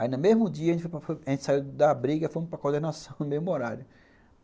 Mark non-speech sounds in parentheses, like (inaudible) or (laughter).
Aí no mesmo dia a gente saiu da abriga e fomos para (laughs) coordenação no mesmo horário.